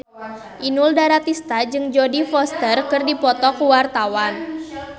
Inul Daratista jeung Jodie Foster keur dipoto ku wartawan